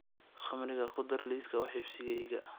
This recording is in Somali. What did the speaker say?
khamriga ku dar liiska wax iibsigayga